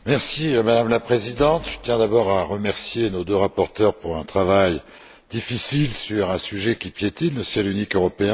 Madame la Présidente, je tiens d'abord à remercier nos deux rapporteurs pour leur travail difficile sur un sujet qui piétine le ciel unique européen.